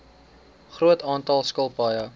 groot aantal skilpaaie